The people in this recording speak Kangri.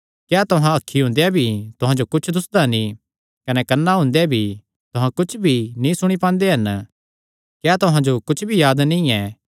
क्या तुहां अखीं हुंदेया भी तुहां जो कुच्छ दुस्सदा नीं कने कन्नां हुंदेया भी तुहां कुच्छ भी नीं सुणी पांदे हन क्या तुहां जो कुच्छ भी याद नीं ऐ